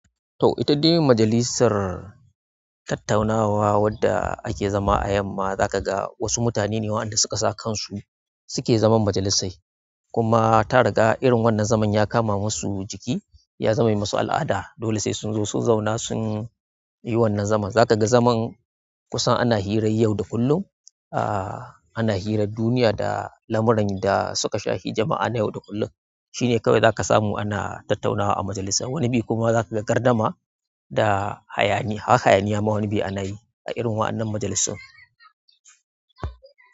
To, ita dai majalisar tattaunawa wadda ake zama a yamma, za ka ga wasu mutane ne waɗanda suka sa kansu suke zaman majalisai. Kuma ta riga irin wannan zaman ya kama musu jiki ya zame musu al'ada. Dole sai sun zo sun zauna sun yi wannan zaman. Za ka ga zaman kusan ana hirar yau da kullum, ana hirar duniya da lamuran da suka shafi jama'a na yau da kullum. Shine kawai zaka samu ana tattaunawa a majalisar. Wani biyu kuma za ka ga gardama da hayaniya. Haka hayaniya ma wani biyu ana yi a irin wannan majalisun.